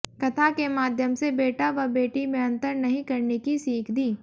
कथा के माध्यम से बेटा व बेटी में अंतर नहीं करने की सीख दी